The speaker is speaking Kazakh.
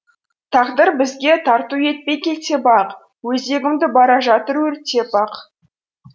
тағдыр бізге тарту етпей келте бақ өзегімді бара жатыр өртеп ақ